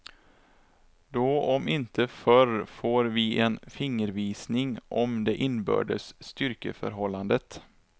Då om inte förr får vi en fingervisning om det inbördes styrkeförhållandet.